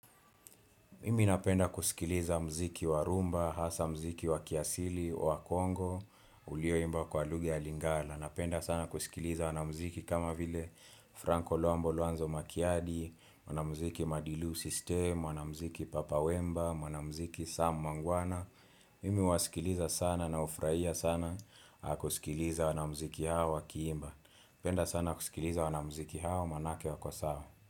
Mimi napenda kusikiliza mziki wa rumba, hasa mziki wa kiasili, wa kongo, ulioimba kwa lugha ya lingala. Napenda sana kusikiliza wanamziki kama vile Franko Lombo Luanzo Makiadi, wanamziki Madilu System, mwanamziki Papa Wemba, mwanamziki Sam Mangwana. Mimi huwasikiliza sana nawafurahia sana kusikiliza wanamziki hawa wakiimba. Penda sana kusikiliza wanamziki hawa, manake wako sawa.